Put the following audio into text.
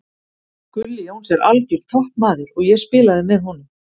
Gulli Jóns er algjör toppmaður og ég spilaði með honum.